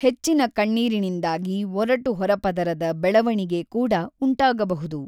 ಹೆಚ್ಚಿನ ಕಣ್ಣೀರಿನಿಂದಾಗಿ ಒರಟುಹೊರಪದರದ ಬೆಳೆವಣಿಗೆ ಕೂಡ ಉಂಟಾಗಬಹುದು.